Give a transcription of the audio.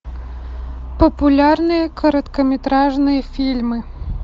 популярные короткометражные фильмы